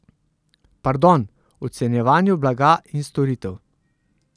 Pardon, ocenjevanju blaga in storitev.